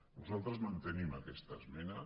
nosaltres mantenim aquesta esmena